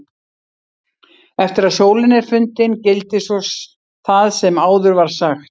Eftir að sólin er fundin gildir svo það sem áður var sagt.